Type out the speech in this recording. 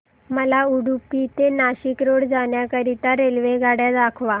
मला उडुपी ते नाशिक रोड जाण्या करीता रेल्वेगाड्या दाखवा